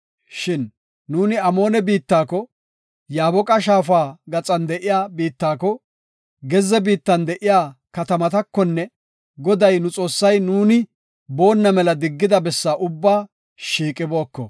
Shin nuuni Amoone biittako, Yaaboqa Shaafa gaxan de7iya biittako, gezze biittan de7iya katamatakonne Goday nu Xoossay nuuni boonna mela diggida bessaa ubbaa shiiqibooko.